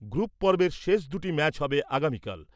Group পর্বের শেষ দুটি ম্যাচ হবে আগামীকাল ।